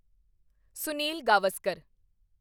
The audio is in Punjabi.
ਸੁਨੀਲ ਗਾਵਸਕਰ